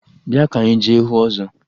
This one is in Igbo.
Bịa ka anyị jee hụ ọzọ!